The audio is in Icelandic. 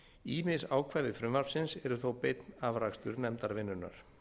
ýmis ákvæði frumvarpsins eru þó beinn afrakstur nefndarvinnunnar